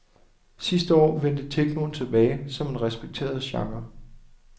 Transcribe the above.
Sidste år vendte technoen tilbage som en respekteret genre.